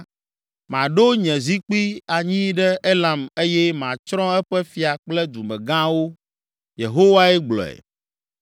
Maɖo nye zikpui anyi ɖe Elam eye matsrɔ̃ eƒe fia kple dumegãwo.” Yehowae gblɔe.